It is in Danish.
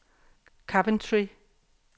Coventry